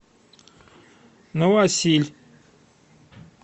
новосиль